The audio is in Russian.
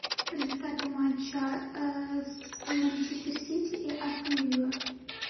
результаты матча с манчестер сити и астон вилла